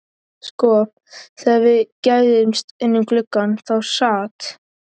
Sko, þegar við gægðumst inn um gluggann þá sat